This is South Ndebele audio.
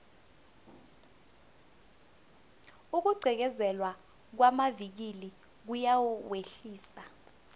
ukugqekezelwa kwamavikili kuyawehlisa